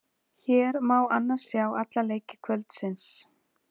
Hér má annars sjá alla leiki kvöldsins.